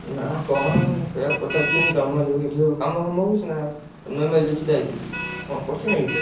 ନା କଣ ସେୟା ପଚାରୁଥିଲି ତମର ଯୋଉ ସେଠି ସବୁ କାମ ଫାମ ହଉଛି ନା? ନୁଆ MLA ଯୋଉ ଛିଡା ହେଇଚି ସେଠି କଣ କରୁଚି ନା ସେଠି?